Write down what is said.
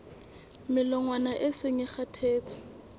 melongwana e seng e kgathetse